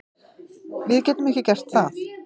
Við getum ekki gert það